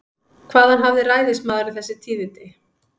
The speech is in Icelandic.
Hvaðan hafði ræðismaðurinn þessi tíðindi?